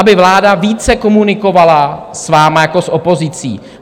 Aby vláda více komunikovala s vámi jako s opozicí.